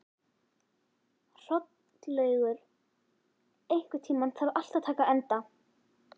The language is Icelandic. Hrollaugur, einhvern tímann þarf allt að taka enda.